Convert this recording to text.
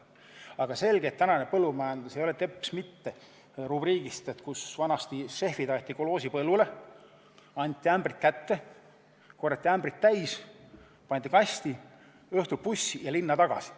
Aga tänane põllumajandus ei ole teps mitte selline nagu vanasti, kui šefid aeti kolhoosi põllule, anti ämbrid kätte, need korjati täis, sisu pandi kasti, õhtul istuti bussi ja sõideti linna tagasi.